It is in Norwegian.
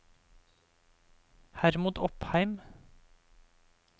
Hermod Opheim